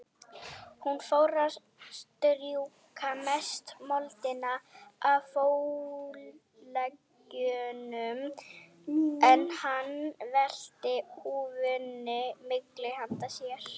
Hún fór að strjúka mestu moldina af fótleggjunum, en hann velti húfunni milli handa sér.